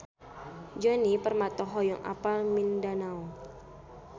Djoni Permato hoyong apal Mindanao